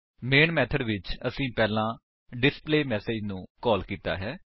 ਮੈਨ method ਵਿੱਚ ਅਸੀਂ ਪਹਿਲਾਂ ਡਿਸਪਲੇਮੈਸੇਜ ਨੂੰ ਕਾਲ ਕੀਤਾ ਹੈ